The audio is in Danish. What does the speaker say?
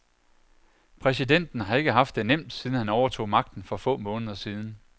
Præsidenten har ikke haft det nemt siden han overtog magten for få måneder siden.